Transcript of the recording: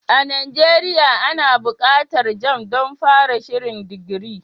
A Nigeria ana buƙatar jamb don fara shirin digiri.